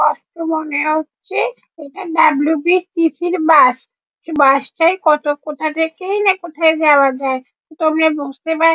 আস্ত মনে হচ্ছে এটা ডাবলু.বি.টি.সি র বাস এই বাস টায় কত কোথা থেকেই না কোথায় যাওয়া যায় তোমরা বুঝতে পার--